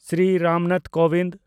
Shri Ram Nath Kovind